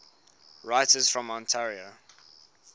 writers from ontario